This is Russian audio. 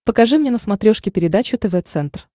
покажи мне на смотрешке передачу тв центр